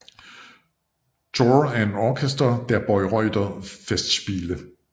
Chor und Orchester der Bayreuther Festspiele